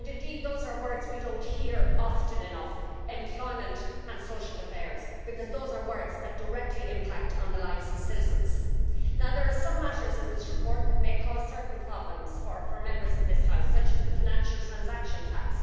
Indeed, these are words we do not hear often enough employment and social affairs because they are words that directly impact on the lives of citizens. There are some matters in this report that may cause certain problems for members of this House, such as the financial transaction tax.